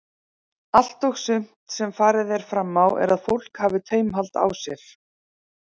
Allt og sumt sem farið er fram á er að fólk hafi taumhald á sér.